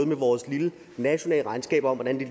med vores lille nationalregnskab om hvordan de